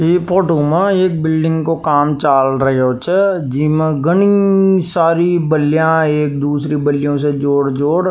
इ फोटो मा एक बिल्डिंग काे काम चाल रिहो छे जीमे घनी सारी बल्लियाँ एक दूसरी बल्लियों से जोड़-जोड़ --